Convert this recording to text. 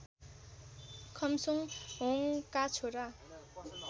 खम्सोङहोङका छोरा